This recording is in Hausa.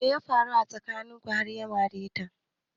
Me ya faru tsakanin ku har ya mare ki?